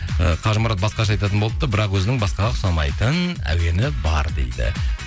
і қажымұрат басқаша айтатын болыпты бірақ өзінің басқаға ұқсамайтын әуені бар дейді